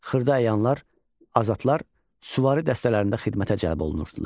Xırda əyanlar, azatlar, süvari dəstələrində xidmətə cəlb olunurdular.